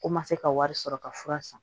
Ko ma se ka wari sɔrɔ ka fura san